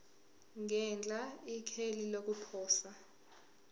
ngenhla ikheli lokuposa